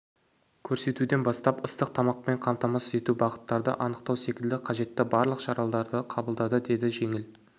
көрсетуден бастап ыстық тамақпен қамтамасыз ету бағыттарды анықтау секілді қажетті барлық шараларды қабылдады деді жеңіл